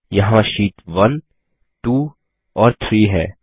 यहाँ शीट1 2 और 3 है